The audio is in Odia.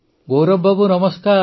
ଗୌରବ ବାବୁ ନମସ୍କାର